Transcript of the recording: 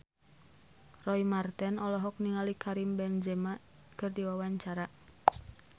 Roy Marten olohok ningali Karim Benzema keur diwawancara